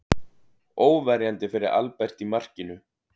Óverjandi fyrir Albert í markinu.